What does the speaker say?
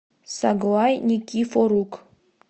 саглай никифорук